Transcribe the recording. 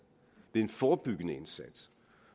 ved en forebyggende indsats